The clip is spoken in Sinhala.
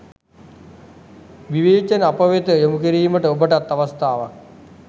විවේචන අපවෙත යොමුකිරීමට ඔබටත් අවස්ථාවක්.